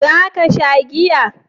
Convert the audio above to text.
Za ka sha giya?